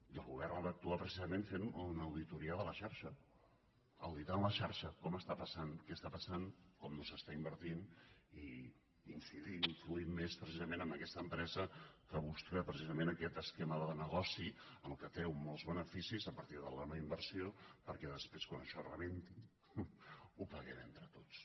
i el govern ha d’actuar precisament fent una auditoria de la xarxa auditant la xarxa com està passant què està passant com no s’està invertint i incidint i influint més precisament en aquesta empresa que busca precisament aquest esquema de negoci amb el qual treu molts beneficis a partir de la noinversió perquè després quan això rebenti ho paguem entre tots